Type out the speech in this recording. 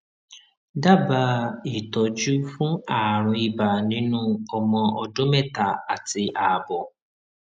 dábàá ìtọjú fún àrùn ibà nínú ọmọ ọdún mẹta àti àbọ